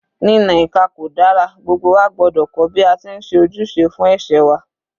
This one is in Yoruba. Ní na ìka kò dára, gbogbo wa gbọ́dọ̀ kọ́ bí a ti ń ṣe ojúṣe fún ẹ̀ṣẹ̀ wa.